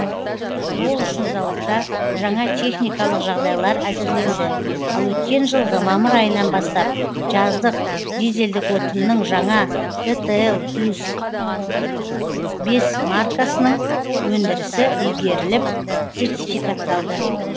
ол үшін зауытта жаңа техникалық жағдайлар әзірленді ал өткен жылғы мамыр айынан бастап жаздық дизельдік отынның жаңа дтл плюс бес маркасының өндірісі игеріліп сертификатталды